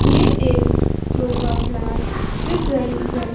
ये एक योगा क्लास दिख रही है।